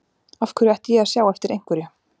Af hverju ætti ég að sjá eftir einhverju?